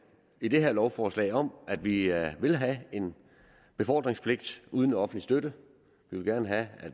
i det her lovforslag om at vi vil have en befordringspligt uden offentlig støtte vi vil gerne have at